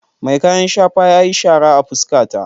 Mai kayan shafa yayi shara a fuskata.